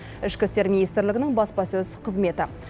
ішкі істер министрлігінің баспасөз қызметі